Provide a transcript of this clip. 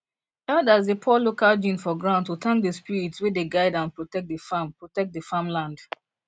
elders dey pour local gin for ground to thank the spirits wey dey guide and protect the farm protect the farm land